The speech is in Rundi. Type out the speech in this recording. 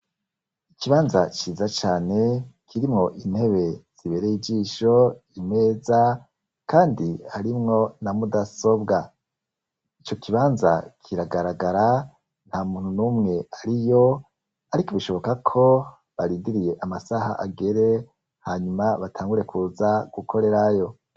Ikibanza ciza cane kirimwo intebe zibereye ijisho imeza, kandi harimwo na mudasobwa i co kibanza kiragaragara nta muntu n'umwe ari yo, ariko bishoboka ko baridiriye amasaha agere hanyuma batangure kuza gukorerayo.